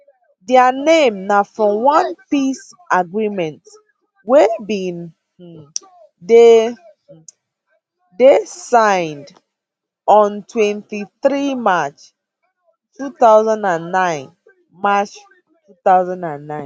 dia name na from one peace agreement wey bin um dey um signed on 23 march 2009 march 2009